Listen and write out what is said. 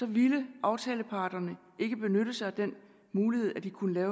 ville aftaleparterne ikke benytte sig af den mulighed at de kunne